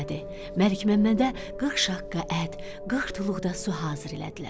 Məlik Məmmədə 40 şaqqa ət, 40 tuluq da su hazırladılar.